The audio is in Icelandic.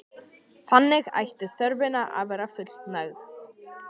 Þannig ætti þörfinni að verða fullnægt.